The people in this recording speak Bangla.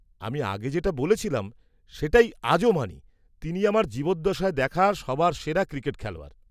-আমি আগে যেটা বলেছিলাম সেটাই আজও মানি, তিনি আমার জীবদ্দশায় দেখা সবার সেরা ক্রিকেট খেলোয়াড়।